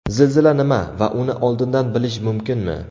Zilzila nima va uni oldindan bilish mumkinmi?.